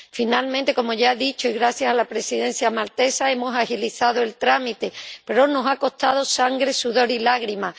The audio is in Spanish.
Finalmente, como ya he dicho y gracias a la Presidencia maltesa, hemos agilizado el trámite, pero nos ha costado sangre, sudor y lágrimas.